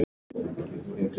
Hvað er þetta mikil aðgerð?